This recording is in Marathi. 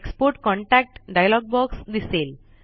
एक्सपोर्ट कॉन्टॅक्ट डायलॉग बॉक्स दिसेल